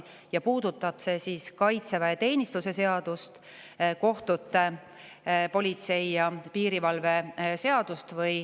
See puudutab kaitseväeteenistuse seadust, kohtute seadust ning politsei ja piirivalve seadust.